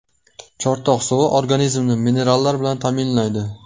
Chortoq suvi organizmni minerallar bilan ta’minlaydi.